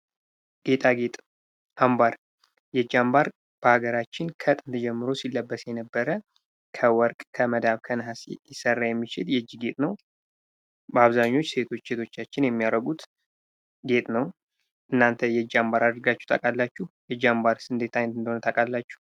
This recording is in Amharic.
ጌጣጌጥ አምባር የእጅ አምባር በሃገራችን ከጥንት ጀምሮ ሲለበስ የነበረ ከወርቅ ከመዳብ ከነሃስ ሊሰራ የሚችል የእጅ ጌጥ ነው። በአብዛኛው ሴቶች እህቶቻችን የሚያደርጉት ጌጥ ነው። እናንተ የእጅ አምባር አድርጋቹ ታውቃላቹ? የእጅ አምባርስ ምን አይነት እንደሆነ ታውቃላችሁ?